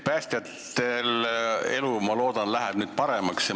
Päästjatel läheb elu, ma loodan, nüüd paremaks.